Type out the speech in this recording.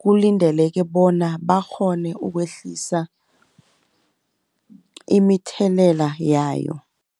kulindeleke bona bakghone ukwehlisa imithelela yayo.